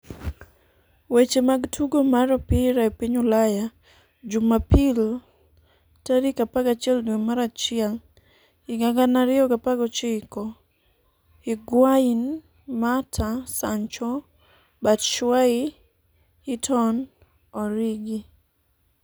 weche mag tugo mar opira e piny Ulaya Jumapil 11.01.2019: Higuain, Mata, Sancho, Batshuayi, Heaton, Origi